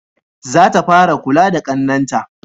Za ta fara kula da ƙannen ta